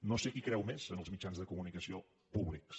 no sé qui creu més en els mitjans de comunicació públics